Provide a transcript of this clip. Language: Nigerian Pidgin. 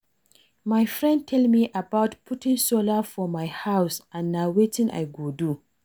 My friend tell me about putting solar for my house and na wetin I go do